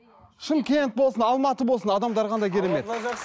шымкент болсын алматы болсын адамдары қандай керемет